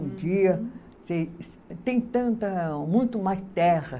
Um dia Tem tanta. Muito mais terra.